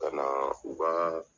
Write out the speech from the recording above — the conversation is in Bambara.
Ka na u ka